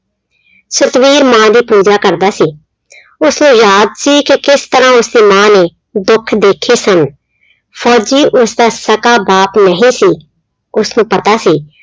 ਸਤਵੀਰ ਮਾਂ ਦੀ ਪੂਜਾ ਕਰਦਾ ਸੀ ਉਸਨੂੰ ਯਾਦ ਸੀ ਕਿ ਕਿਸ ਤਰ੍ਹਾਂ ਉਸਦੀ ਮਾਂ ਨੇ ਦੁੱਖ ਦੇਖੇ ਸਨ, ਫ਼ੋਜ਼ੀ ਉਸਦਾ ਸਕਾ ਬਾਪ ਨਹੀਂ ਸੀ, ਉਸਨੂੰ ਪਤਾ ਸੀ।